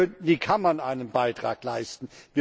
Hier könnten die Kammern einen Beitrag leisten.